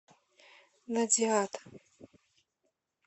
надиад